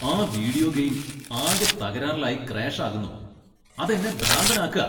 ആ video game ആകെ തകരാറിലായി ക്രാഷ് ആകുന്നു. അത് എന്നെ ഭ്രാന്തനാക്കാ.